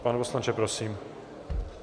Pane poslanče, prosím.